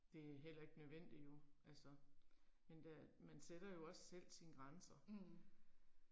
Det er heller ikke nødvendigt jo, altså. Men der, man sætter jo også selv sine grænser. Men der er jo nogle ting man skal